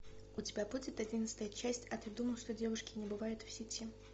у тебя будет одиннадцатая часть а ты думал что девушки не бывают в сети